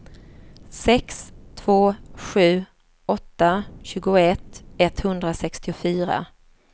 sex två sju åtta tjugoett etthundrasextiofyra